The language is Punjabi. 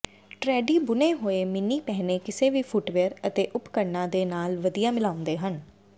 ਟਰੈਡੀ ਬੁਣੇ ਹੋਏ ਮਿੰਨੀ ਪਹਿਨੇ ਕਿਸੇ ਵੀ ਫੁੱਟਵੀਅਰ ਅਤੇ ਉਪਕਰਣਾਂ ਦੇ ਨਾਲ ਵਧੀਆ ਮਿਲਾਉਂਦੇ ਹਨ